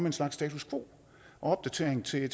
en slags status quo og opdatering til